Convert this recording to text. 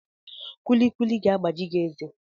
Kulikuli ga-agbaji gị eze